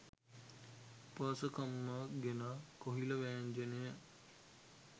උපාසකම්මා ගෙනා කොහිල වෑංජනය